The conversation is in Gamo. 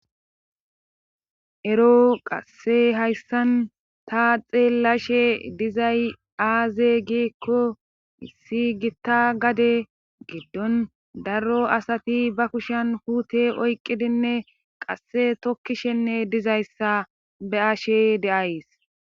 ero qasse hayssan ta xeellashe dizay aaze giekko issi gitta gade geddon darro asati ba kushen kuute oyqqidinne qasse tokkishenne dizayssa be ashe de7ays